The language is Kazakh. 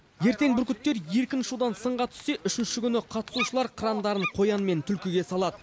ертең бүркіттер еркін ұшудан сынға түссе үшінші күні қатысушылар қырандарын қоян мен түлкіге салады